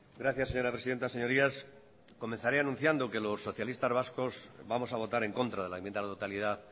gracias señora presidenta señorías comenzaré anunciando que los socialistas vascos vamos a votar en contra de la enmienda a la totalidad